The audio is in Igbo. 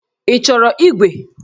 Ị chọrọ ígwè?